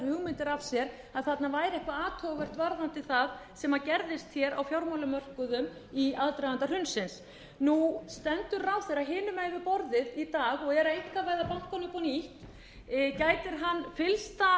hugmyndir af sér að þarna væri eitthvað athugavert varðandi það sem gerðist á fjármálamörkuðum í aðdraganda hrunsins nú stendur ráðherra hinum megin við borðið í dag og er að einkavæða bankana upp á nýtt gætir hann fyllsta